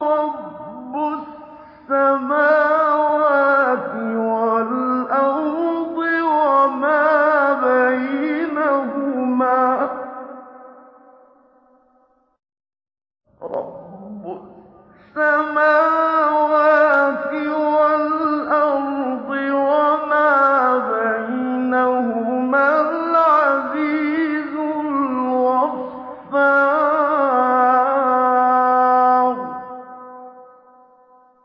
رَبُّ السَّمَاوَاتِ وَالْأَرْضِ وَمَا بَيْنَهُمَا الْعَزِيزُ الْغَفَّارُ